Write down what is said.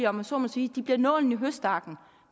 om jeg så må sige bliver nålen i høstakken